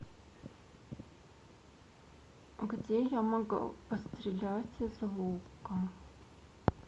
где я могу пострелять из лука